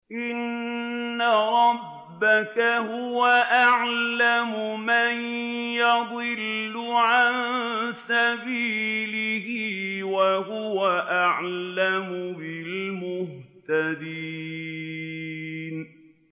إِنَّ رَبَّكَ هُوَ أَعْلَمُ مَن يَضِلُّ عَن سَبِيلِهِ ۖ وَهُوَ أَعْلَمُ بِالْمُهْتَدِينَ